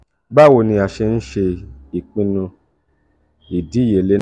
bawo ni a ṣe nse pinnu idiyele naa?